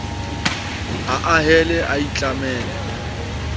ha a hele a itlamele